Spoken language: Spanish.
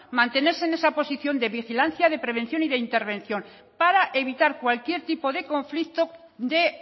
mantenerse en esa posición de vigilancia de prevención y de intervención para evitar cualquier tipo de conflicto de